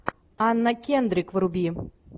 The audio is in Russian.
анна кендрик вруби